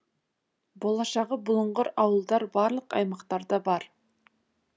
болашағы бұлыңғыр ауылдар барлық аймақтарда бар